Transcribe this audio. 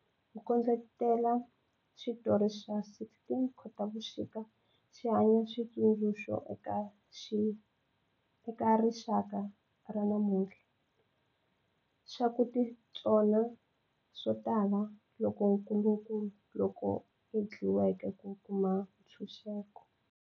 Ku kondletela xitori xa 16 Khotavuxika xi hanya xitsundzuxo eka rixaka ra namuntlha xa ku titsona swo tala lokukulu loku endliweke ku kuma ntshunxeko.